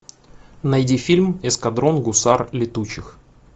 найди фильм эскадрон гусар летучих